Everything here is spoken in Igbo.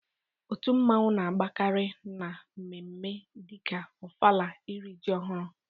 Otu nmanwu na agbakarị na mme mme dika Ofala, iri ji ọhụrụ